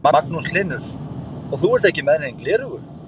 Magnús Hlynur: Og þú ert ekki með nein gleraugu?